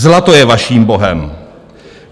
Zlato je vaším bohem.